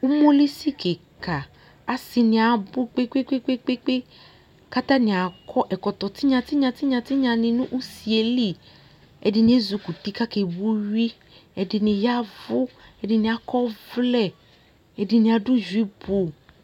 Umolisi kɩka asɩnɩ abʋ kpekpekpekpekpekpe Katanɩ akɔ ɛkɔtɔ tɩnyatɩnyatɩnyatɩnya nɩ n'usie li Ɛdɩnɩ ezikuti kakrbo uyui ɛdɩnɩ yavʋ , ɛdɩnɩ akɔvlɛ, ɛdɩnɩ adʋ juipʋ